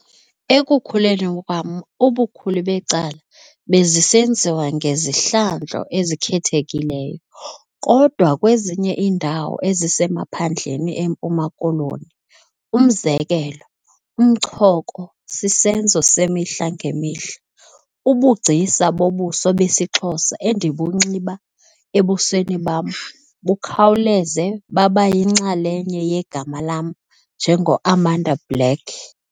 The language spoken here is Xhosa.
Ekukhuleni kwam, ubukhulu becala bezisenziwa ngezihlandlo ezikhethekileyo - kodwa kwezinye iindawo ezisemaphandleni eMpuma Koloni, umzekelo, umchoko sisenzo semihla ngemihla. Ubugcisa bobuso besiXhosa endibunxiba ebusweni bam bukhawuleze baba yinxalenye yegama lam njengoAmanda Black.